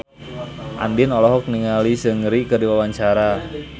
Andien olohok ningali Seungri keur diwawancara